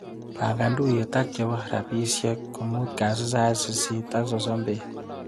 Pangan tuiyet ak chebo rapisiek komut kasit sait sisit ak sosom bet.